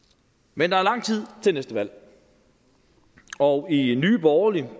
men der er lang tid til næste valg og i nye borgerlige